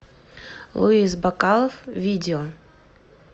луис бакалов видео